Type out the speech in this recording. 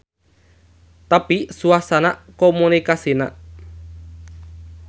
Tapi suasana komunikasina.